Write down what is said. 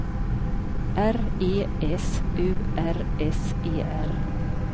R E S U R S E R